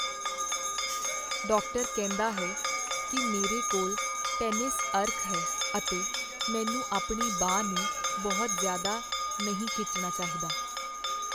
Doctor ਕਹਿੰਦਾ ਹੈ ਕੀ ਮੇਰੇ ਕੋਲ ਟੈਨਿਸ ਅਰਕ ਹੈ ਅਤੇ ਮੈਨੂੰ ਆਪਣੀ ਬਾਂਹ ਨੂੰ ਬਹੁਤ ਜ਼ਿਆਦਾ ਨਹੀਂ ਖਿੱਚਣਾ ਚਾਹੀਦਾ।